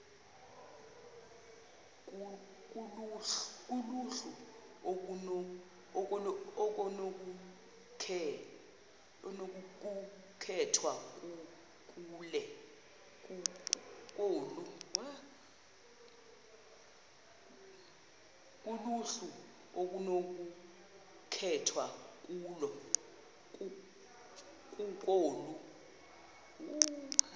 kuluhlu okunokukhethwa kulo